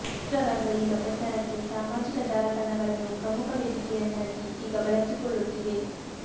ಚಿತ್ರರಂಗ ಈಗ ಪ್ರಚಾರಕ್ಕೆ ಸಾಮಾಜಿಕ ಜಾಲತಾಣಗಳನ್ನು ಪ್ರಮುಖ ವೇದಿಕೆಯನ್ನಾಗಿ ಈಗ ಬಳಸಿಕೊಳ್ಳುತ್ತಿದೆ